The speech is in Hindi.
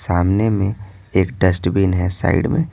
सामने में एक डस्टबिन है साइड में--